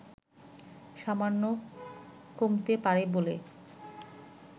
সামান্য কমতে পারে বলে